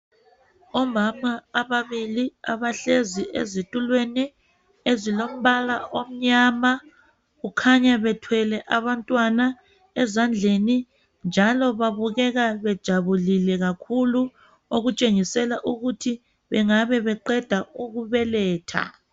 Omama ababili abahlezi ezitulweni ezilombala omnyama. Kukhanya bethwele abantwana ezandleni njalo babukeka bejabulile kakhulu okutshengisela ukuthi bengabe beqeda ukubeletha.